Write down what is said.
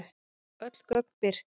Öll gögn birt